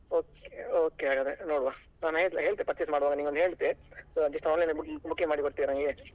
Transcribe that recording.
Okay okay ಹಾಗಾದ್ರೆ ನೋಡುವ ನಾನ್ ಹೇಳ್ತೆ ಹೇಳ್ತೆ purchase ಮಾಡುವಾಗ ನಿಂಗ್ ಒಂದು ಹೇಳ್ತೆ so just online ಅಲ್ಲಿ booking ಮಾಡಿ ಕೊಡ್ತೀಯಾ ನಂಗೆ.